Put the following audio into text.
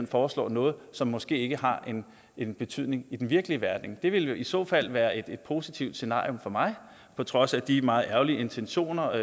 foreslår noget som måske ikke har en en betydning i den virkelige verden det ville jo i så fald være et positivt scenarium for mig på trods af de meget ærgerlige intentioner